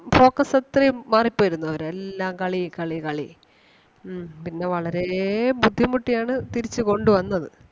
focus അത്രേം മാറി പോയിരുന്നു അവരെ. എല്ലാം കളി കളി കളി ഉം പിന്നെ വളരേ ബുദ്ധിമുട്ടി ആണ് തിരിച്ച് കൊണ്ട് വന്നത്.